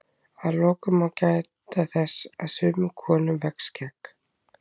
Að lokum má geta þess að sumum konum vex skegg.